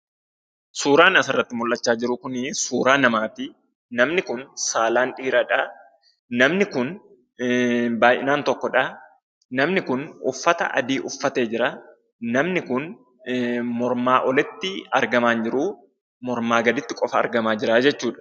Suuraan asirratti mul'achaa jiru kunii suuraa namaati. Namni kun saalaan dhiiradhaa. Namni kun baay'inaan tokkodhaa. Namni kun uffata adii uffatee jiraa. Namni kun mormaa olitti argamaa hin jiruu. Mormaa gaditti qofa argamaa jiraa jechuudha.